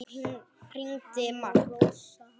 Hann og Rósa hans.